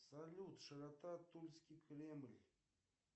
салют широта тульский кремль